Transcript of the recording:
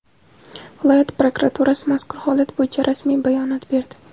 Viloyat prokuraturasi mazkur holat bo‘yicha rasmiy bayonot berdi.